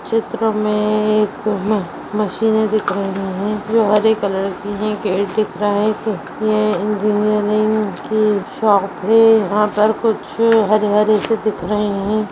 चित्र में एक मशीन दिख रही है जो हरे कलर के हैं गेट दिख रहा है यह इंजीनियर की शॉप है यहां कुछ हरे-हरे दिख रहे हैं।